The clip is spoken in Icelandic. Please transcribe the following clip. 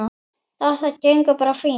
Þetta gengur bara fínt.